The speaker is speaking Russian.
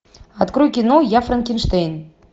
открой кино я франкенштейн